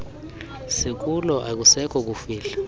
sikulo akusekho kufihla